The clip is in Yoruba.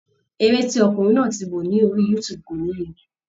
Eré tí ọkùnrin náà ti wo ni orí youtube kò níye.